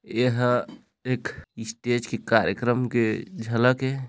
एहा एक स्टेज के कार्यकम के झलक ए।